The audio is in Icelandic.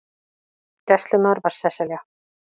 Gæslumaður var Sesselja